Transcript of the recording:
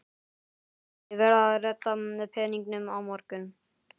Ég verð að redda peningum á morgun.